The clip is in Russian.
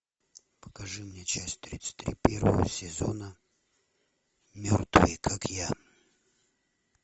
покажи мне часть тридцать три первого сезона мертвые как я